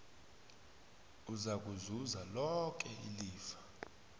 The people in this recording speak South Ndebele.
uzakuzuza loke ilifa